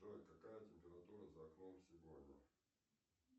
джой какая температура за окном сегодня